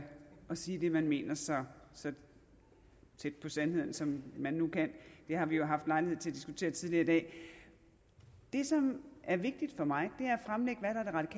sige det man mener så så tæt på sandheden som man nu kan det har vi haft lejlighed til at diskutere tidligere i dag det som er vigtigt for mig